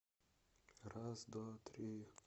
раз два три